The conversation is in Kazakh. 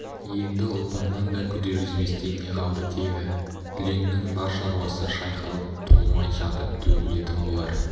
енді ұлпаннан да күдер үзбестей не қалды тегі түленнің бар шаруасы шайқалып толмай жатып төгілетін болар